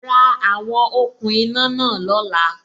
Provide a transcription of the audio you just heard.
Ra àwon okùn iná náà lóla